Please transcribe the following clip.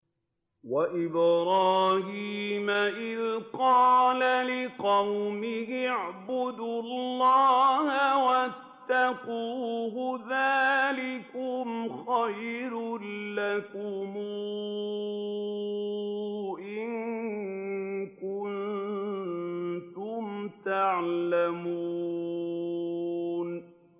وَإِبْرَاهِيمَ إِذْ قَالَ لِقَوْمِهِ اعْبُدُوا اللَّهَ وَاتَّقُوهُ ۖ ذَٰلِكُمْ خَيْرٌ لَّكُمْ إِن كُنتُمْ تَعْلَمُونَ